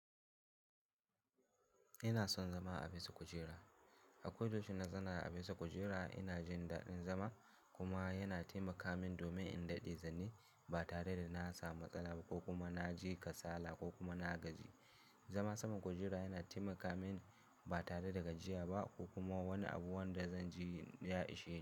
Ina son zama a bisa kujera. A kodayaushe in na zauna bisa kujera ina jin daɗin zama kuma yana taimaka min domin in daɗe zan yi ba tare da na samu matsala ba ko kuma na ji kasala ko kuma na gaji. Zama saman kujera yana taimaka mini ba tare da gajiya ba ko kuma wani abu wanda zan ji ya ishe ni.